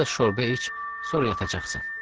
Bir az şorbə iç, sonra yatacaqsan.